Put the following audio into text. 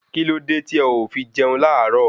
Kíló dé tí o ò fi jẹun láàárọ̀?